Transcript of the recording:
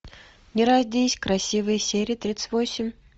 не родись красивой серия тридцать восемь